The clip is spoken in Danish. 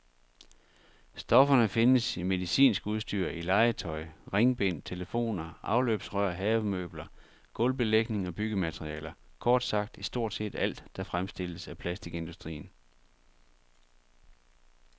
Stofferne findes i medicinsk udstyr, i legetøj, ringbind, telefoner, afløbsrør, havemøbler, gulvbelægning og byggematerialer, kort sagt i stort set alt, der fremstilles af plastikindustrien.